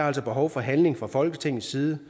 altså behov for handling fra folketingets side